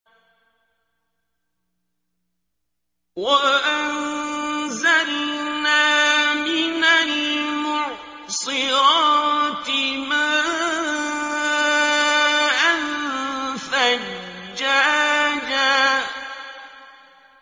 وَأَنزَلْنَا مِنَ الْمُعْصِرَاتِ مَاءً ثَجَّاجًا